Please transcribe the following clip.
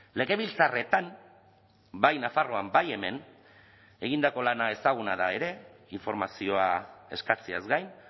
legebiltzarretan bai nafarroan bai hemen egindako lana ezaguna da ere informazioa eskatzeaz gain